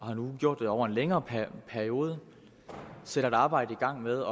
og har nu gjort det over en længere periode og sat et arbejde i gang med